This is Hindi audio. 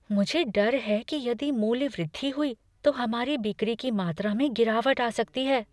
मुझे डर है कि यदि मूल्य वृद्धि हुई तो हमारी बिक्री की मात्रा में गिरावट आ सकती है।